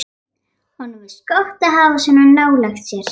Honum finnst gott að hafa hana svona nálægt sér.